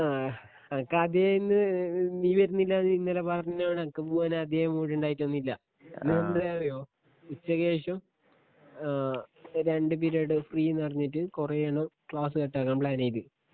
ആ അണക്കാദ്യ ഇന്ന് നീ വര്നില്ലാന്ന് ഇന്നലെ പറഞ്ഞോണ്ടെനക്ക് പൂവാനാധ്യേ മൂട്ണ്ടായിട്ടൊന്നില്ല ഇന്നെന്തേറിയോ ഉച്ചക്കേഷം ഏ രണ്ട് പിരിയഡ് ഫ്രീന്ന് പറഞ്ഞിട്ട് കൊറേണ്ണം ക്ലാസ് കട്ടാക്കാൻ പ്ലാനീത്